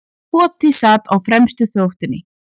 Koti sat á fremstu þóftunni.